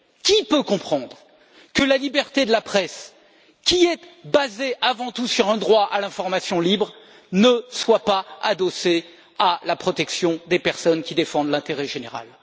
Qui peut comprendre que la liberté de la presse, qui est basée avant tout sur un droit à l'information libre, ne soit pas adossée à la protection des personnes qui défendent l'intérêt général?